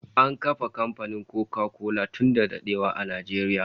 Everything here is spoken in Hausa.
An kafa kamfanin Koka kola tun da dadewa a Najeriya